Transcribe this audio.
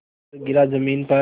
आकर गिरा ज़मीन पर